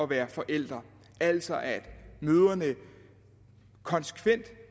være forældre altså at mødrene konsekvent